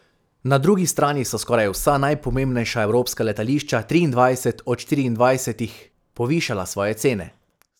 Na drugi strani so skoraj vsa najpomembnejša evropska letališča triindvajset od štiriindvajsetih povišala svoje cene.